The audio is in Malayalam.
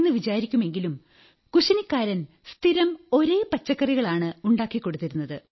എന്നു വിചാരിക്കുമെങ്കിലും കുശിനിക്കാരൻ സ്ഥിരം ഒരേ പച്ചക്കറികളാണ് ഉണ്ടാക്കി കൊടുത്തിരുന്നത്